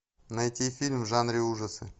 найти фильм в жанре ужасы